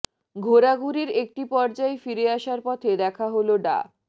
ঘোরাঘুরির একটি পর্যায়ে ফিরে আসার পথে দেখা হলো ডা